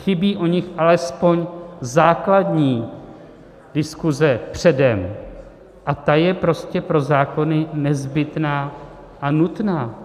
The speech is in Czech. Chybí o nich alespoň základní diskuse předem, a ta je prostě pro zákony nezbytná a nutná.